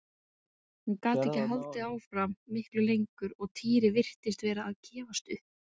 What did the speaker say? Hún gat ekki haldið áfram miklu lengur og Týri virtist vera að gefast upp.